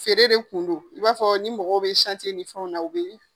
Feere de kun don. I b'a fɔ ni mɔgɔw be ni fɛnw na u be yen.